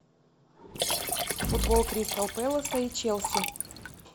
футбол кристал пэласа и челси